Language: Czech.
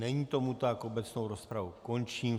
Není tomu tak, obecnou rozpravu končím.